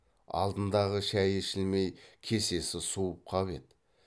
алдындағы шайы ішілмей кесесі суып қап еді